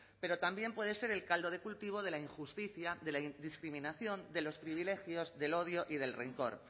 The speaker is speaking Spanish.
pero también puede ser el caldo de cultivo de la injusticia de la discriminación de los privilegios del odio y del rencor